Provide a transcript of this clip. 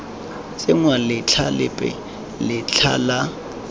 tsenngwa letlha lepe letlha la